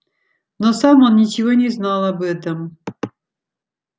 но сам он ничего не знал об этом